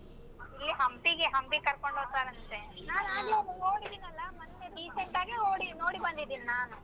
ಇಲ್ಲಿ ಹಂಪಿಗೆ ಹಂಪಿ ಕರ್ಕೊಂಡ್ ಹೋತಾರಂತೆ. ಅದನ್ ನೋಡಿದಿನಲ್ಲ ಮತ್ತೆ recent ಆಗೇ ಹೋಗಿ ನೋಡಿ ಬಂದಿದೀನಿ ನಾನು.